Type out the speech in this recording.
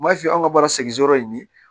M'a f'i ye an ka baara segin yɔrɔ in ye